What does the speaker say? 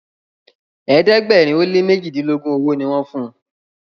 ẹ̀ẹ́dẹ̀gbẹ̀rin o lẹ mẹjidilogun ọwó ní wón fún.